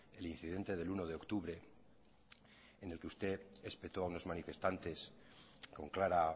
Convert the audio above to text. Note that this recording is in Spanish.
el incidente del uno de octubre en el que usted espetó a unos manifestantes con clara